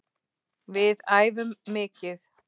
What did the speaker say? Við æfum mikið.